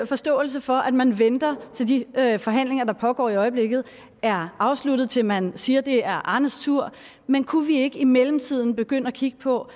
forståelse for at man venter til de forhandlinger der pågår i øjeblikket er afsluttet til at man siger at det er arnes tur men kunne vi ikke i mellemtiden begynde at kigge på